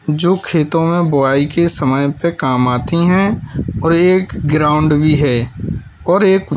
जो खेतों में बुवाई के समय पे काम आती हैं और एक ग्राउंड भी है और एक--